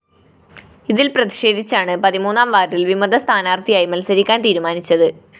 ഇതില്‍ പ്രതിഷേധിച്ചാണ് പതിമൂന്നാം വാര്‍ഡില്‍ വിമത സ്ഥാനാര്‍ത്ഥിയായി മത്സരിക്കാന്‍ തീരുമാനിച്ചത്